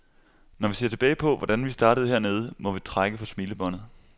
Når vi ser tilbage på, hvordan vi startede hernede, må vi trække på smilebåndet.